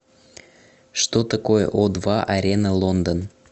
что такое о два арена лондон